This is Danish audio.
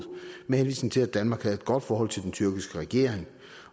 med henvisning til at danmark havde et godt forhold til den tyrkiske regering